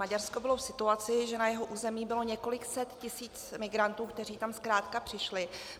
Maďarsko bylo v situaci, že na jeho území bylo několik set tisíc migrantů, kteří tam zkrátka přišli.